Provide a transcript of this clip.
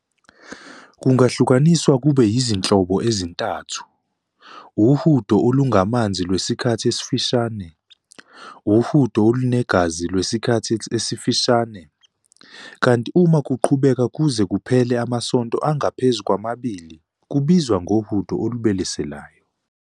Kungahlukaniswa kube yizinhlobo ezintathu- uhudo olungamanzi lwesikhathi esifishane, uhudo olunegazi lwesikhathi esifishane, kanti uma kuqhubeka kuze kuphele amasonto angaphezulu kwamabili, kubizwa ngohudo olubeleselayo.